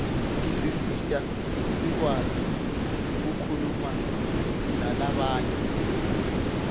tisisita sikwati kukhulumanalabanye